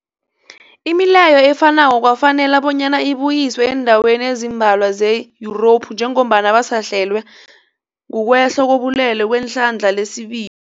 Imileyo efanako kwafanela bonyana ibuyiswe eendaweni ezimbalwa ze-Yurophu njengombana basahlelwa kukwehla kobulwele kwehlandla lesibi